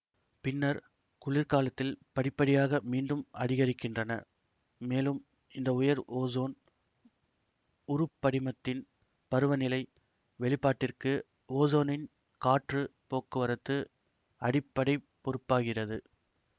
பின்னர் குளிர்காலத்தில் படிப்படியாக மீண்டும் அதிகரிக்கின்றன மேலும் இந்த உயர் ஓசோன் உருப்படிமத்தின் பருவநிலை வெளிப்பாட்டிற்கு ஓசோனின் காற்றுப் போக்குவரத்து அடிப்படை பொறுப்பாகிறது